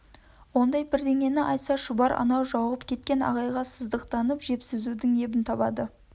ондай бірдеңені айтса шұбар анау жауығып кеткен ағайынға сыздықтатып жепсізудің ебін табады